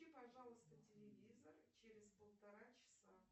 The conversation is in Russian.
пожалуйста телевизор через полтора часа